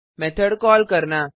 method call करना